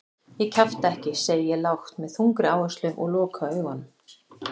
Ég kjafta ekki, segi ég lágt með þungri áherslu og loka augunum.